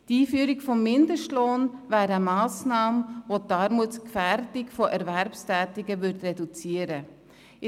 Die Einführung des Mindestlohns wäre eine Massnahme, welche die Armutsgefährdung von Erwerbstätigen reduzieren würde.